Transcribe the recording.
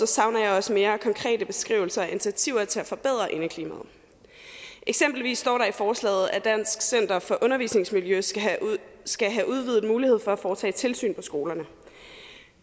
savner jeg også mere konkrete beskrivelser af initiativer til at forbedre indeklimaet eksempelvis står der i forslaget at dansk center for undervisningsmiljø skal have udvidet mulighed for at foretage tilsyn på skolerne